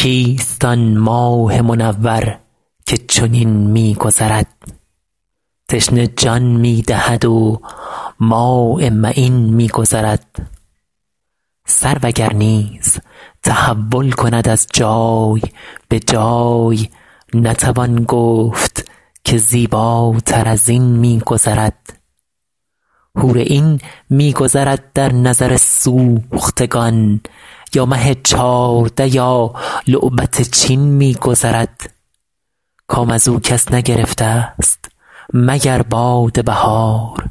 کیست آن ماه منور که چنین می گذرد تشنه جان می دهد و ماء معین می گذرد سرو اگر نیز تحول کند از جای به جای نتوان گفت که زیباتر از این می گذرد حور عین می گذرد در نظر سوختگان یا مه چارده یا لعبت چین می گذرد کام از او کس نگرفتست مگر باد بهار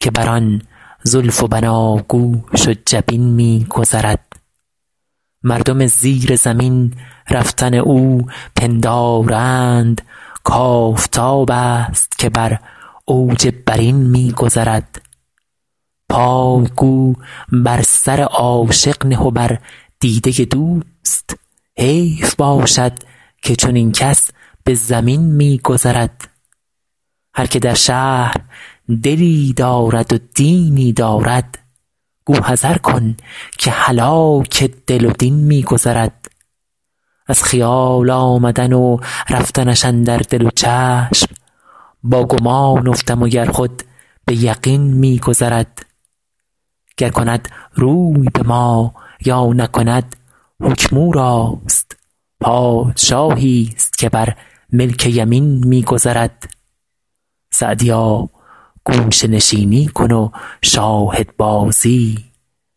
که بر آن زلف و بناگوش و جبین می گذرد مردم زیر زمین رفتن او پندارند کآفتابست که بر اوج برین می گذرد پای گو بر سر عاشق نه و بر دیده دوست حیف باشد که چنین کس به زمین می گذرد هر که در شهر دلی دارد و دینی دارد گو حذر کن که هلاک دل و دین می گذرد از خیال آمدن و رفتنش اندر دل و چشم با گمان افتم و گر خود به یقین می گذرد گر کند روی به ما یا نکند حکم او راست پادشاهیست که بر ملک یمین می گذرد سعدیا گوشه نشینی کن و شاهدبازی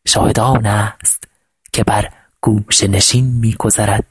شاهد آنست که بر گوشه نشین می گذرد